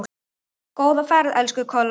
Góða ferð, elsku Kolla.